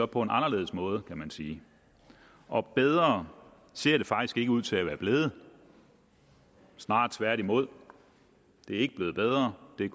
på en anderledes måde kan man sige og bedre ser det faktisk ikke ud til at være blevet snarere tværtimod det er ikke blevet bedre det er